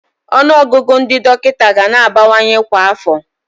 Ọnụọgụgụ ndị dọkịta ga na-abawanye kwa afọ.